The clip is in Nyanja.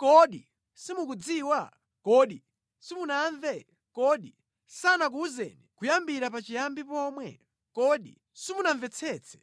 Kodi simukudziwa? Kodi simunamve? Kodi sanakuwuzeni kuyambira pachiyambi pomwe? Kodi simunamvetsetse